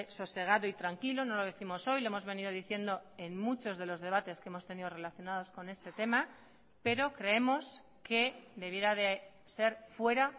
sosegado y tranquilo no lo décimos hoy lo hemos venido diciendo en muchos de los debates que hemos tenido relacionados con este tema pero creemos que debiera de ser fuera